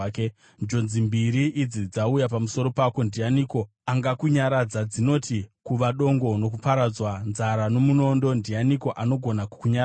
Njodzi mbiri idzi dzauya pamusoro pako, ndianiko angakunyaradza? Dzinoti: kuva dongo nokuparadzwa, nzara nomunondo; ndianiko anogona kukunyaradza?